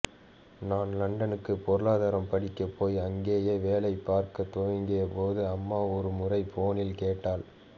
நான் லண்டனுக்கு பொருளாதாரம் படிக்க போய் அங்கேயே வேலை பார்க்க துவங்கிய போது அம்மா ஒரு முறை போனில் கேட்டாள்